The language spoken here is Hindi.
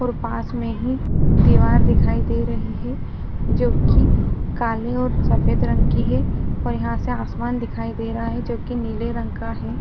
और पास में ही दिवार दिखाई दे रही है जो की काले और सफ़ेद रंग की है और यहाँ से आसमान दिखाई दे रहा है जो की नीले रंग का है।